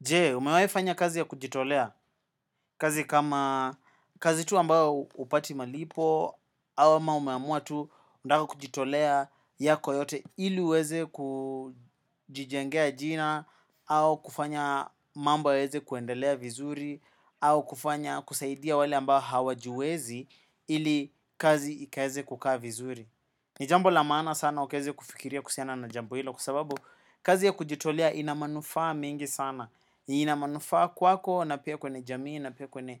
Je, umewaifanya kazi ya kujitolea kazi kama kazi tu ambao hupati malipo ama umeamua tu unataka kujitolea yako yote ili uweze kujijengea jina au kufanya mambo yaweze kuendelea vizuri au kufanya kusaidia wale ambao hawajiwezi ili kazi ikaze kukaa vizuri. Nijambo lamaana sana ukaeze kufikiria kuhusiana na jambo hilo kwa sababu kazi ya kujitolea inamanufaa mingi sana inamanufa kwako na pia kwenye jamii na pia kwenye